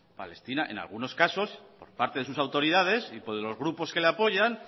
palestina en algunos casos por parte de sus autoridades y por los grupos que le apoyan